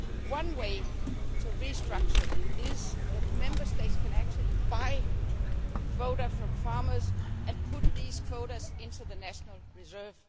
One way to restructure is that Member States can actually buy quotas from farmers and put these quotas into the national reserve.